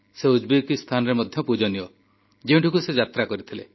ସେ ଉଜବେକିସ୍ତାନରେ ମଧ୍ୟ ପୂଜନୀୟ ଯେଉଁଠିକୁ ସେ ଯାତ୍ରା କରିଥିଲେ